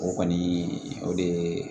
O kɔni o de ye